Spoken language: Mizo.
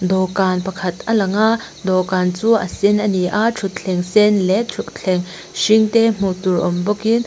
dawhkan pakhat a lang a dawhkan chu a sen a ni a thuthleng sen leh thuthleng hring te hmuh tur awm bawkin--